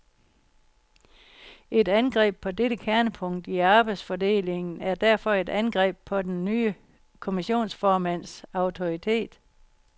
Et angreb på dette kernepunkt i arbejdsfordelingen er derfor et angreb på den nye kommissionsformands autoritet.